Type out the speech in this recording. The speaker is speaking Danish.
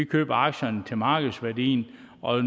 købe aktierne for markedsværdien og